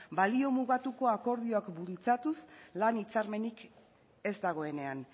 balio mugatuko akordioak bultzatuz lan hitzarmenik ez dagoenean